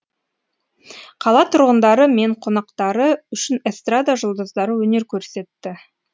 қала тұрғындары мен қонақтары үшін эстрада жұлдыздары өнер көрсетті